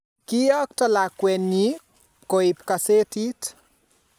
Koiyokto lakwennyi pokoib gazetit